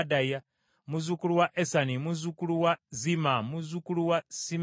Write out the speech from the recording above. muzzukulu wa Esani, muzzukulu wa Zimma, muzzukulu wa Simeeyi,